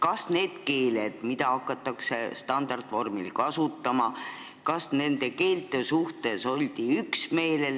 Kas nende keelte suhtes, mida hakatakse standardvormil kasutama, oldi üksmeelel?